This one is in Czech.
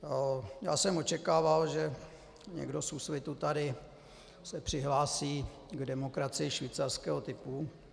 Já jsem očekával, že někdo z Úsvitu se tady přihlásí k demokracii švýcarského typu.